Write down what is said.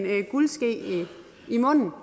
guldske munden og